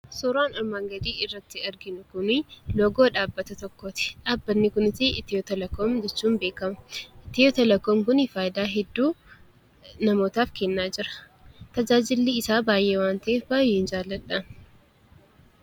Suuraan armaan gadiirratti arginu kuni loogoo dhaabbata tokkooti. Dhaabbanni kunis Itiyoo telekoom jedhamuun beekama. Itiyoo telekoom kun tajaajila hedduu namootaaf kennaa jira. Tajaajilli isaa baay'ee waan ta’eef baay'een jaalladha.